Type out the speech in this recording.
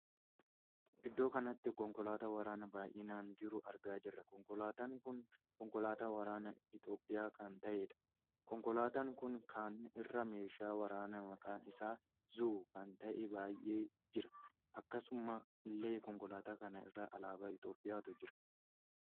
Iddoo kanatti konkolaataa waraanaa baay'inaan jiruu argaa jirra. konkolaataan kun konkolaataa waraanaa Itoophiyaa kan taheedha. konkolaataan kun kana irra meeshaa waraanaa maqaan isaa zuu kan tahee baay'ee jira. akkasuma illee konkolaataa kana irra alaabaa Itoophiyaatu jira.